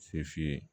Se f'i ye